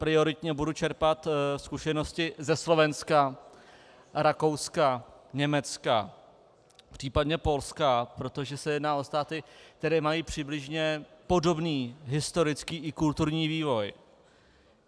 Prioritně budu čerpat zkušenosti ze Slovenska, Rakouska, Německa, případně Polska, protože se jedná o státy, které mají přibližně podobný historický i kulturní vývoj.